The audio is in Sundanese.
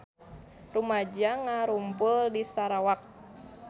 Rumaja ngarumpul di Sarawak